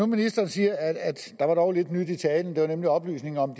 ministeren siger at der dog var lidt nyt i talen der var nemlig oplysningen om